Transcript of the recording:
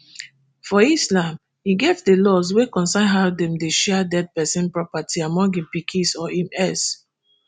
for islam e get di laws wey concern how dem dey share dead pesin property among im pikins or im heirs